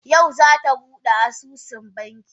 Yau za ta bude asusun banki